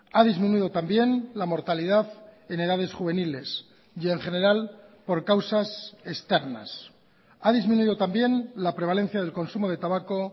ha disminuido también la mortalidad en edades juveniles y en general por causas externas ha disminuido también la prevalencia del consumo de tabaco